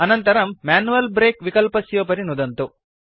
अनन्तरं manual brake विकल्पस्योपरि नुदन्तु